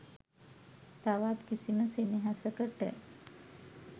තවත් කිසිම සෙනෙහසකට